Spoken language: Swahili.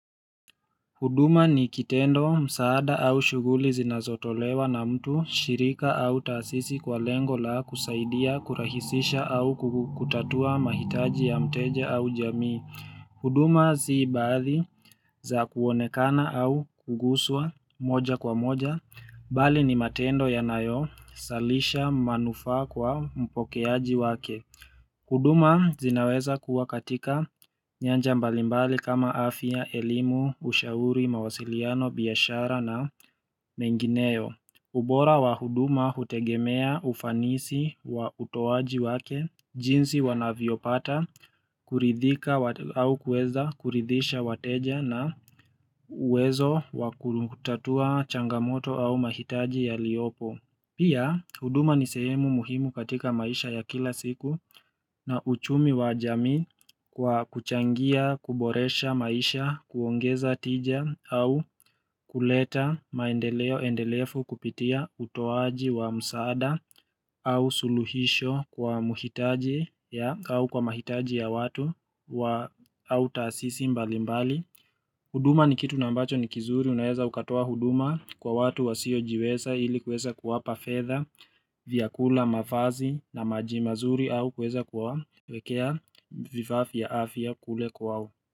Huduma ni kitendo, msaada au shuguli zinazotolewa na mtu, shirika au tasisi kwa lengo la kusaidia, kurahisisha au kutatua mahitaji ya mteja au jamii. Huduma zii baadhi za kuonekana au kuguswa moja kwa moja, bali ni matendo yanayo, salisha manufaa kwa mpokeaji wake. Huduma zinaweza kuwa katika nyanja mbalimbali kama afya, elimu, ushauri, mawasiliano, biashara na mengineo. Ubora wa huduma hutegemea ufanisi wa utoaji wake, jinsi wanavyopata, kuridhika au kuweza kuridhisha wateja na uwezo wa kutatua changamoto au mahitaji ya liopo. Pia, huduma ni sehemu muhimu katika maisha ya kila siku na uchumi wa jamii kwa kuchangia, kuboresha maisha, kuongeza tija au kuleta maendeleo endelefu kupitia utoaji wa msaada au suluhisho kwa mahitaji ya watu au taasisi mbali mbali. Huduma ni kitu na ambacho ni kizuri, unaeza ukatoa huduma kwa watu wasio jiweza ili kweza kuwapa fedha, vyakula, mavazi, na maji mazuri au kuweza kuwawekea vifaa vya afya kule kwao.